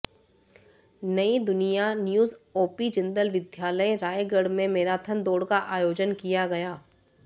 Nai Dunia news OP Jindal विद्यालय रायगढ़ में marathon दौड़ का आयोजन किया गया